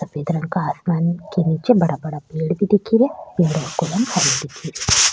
सफेद रंग का आसमान के निचे बड़ा बड़ा पेड़ भी दिख रा पेड़ को रंग हरो दिख रो।